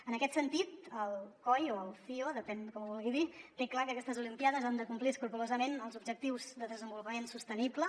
en aquest sentit el coi o el cio depèn com ho vulgui dir té clar que aquestes olimpíades han de complir escrupolosament els objectius de desenvolupament sostenible